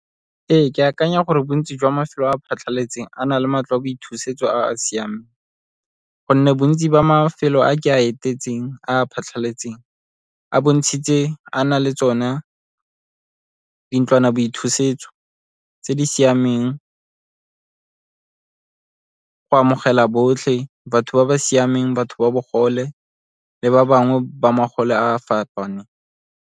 Ee, ke akanya gore bontsi jwa mafelo a phatlhaletseng a na le matlo a boithusetso a a siameng, gonne bontsi jwa mafelo a ke a etetseng a a phatlhaletseng a bontshitse a na le tsone dintlwanaboithusetso tse di siameng, go amogela botlhe, batho ba ba siameng, batho ba bogole le ba bangwe ba a a fapaneng.